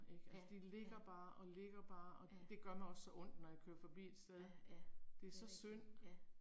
Ja, ja. Ja. Ja, ja. Det er rigtigt, ja